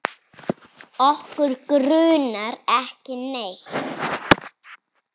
Okkur grunar ekki neitt.